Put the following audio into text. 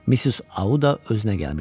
Mis Auda özünə gəlmişdi.